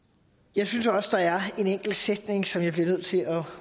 jeg synes også der er en enkelt sætning som jeg bliver nødt til at